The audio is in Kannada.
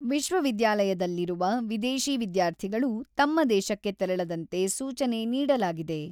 ವಿಶ್ವವಿದ್ಯಾಲಯದಲ್ಲಿರುವ ವಿದೇಶಿ ವಿದ್ಯಾರ್ಥಿಗಳು ತಮ್ಮ ದೇಶಕ್ಕೆ ತೆರಳದಂತೆ ಸೂಚನೆ ನೀಡಲಾಗಿದೆ.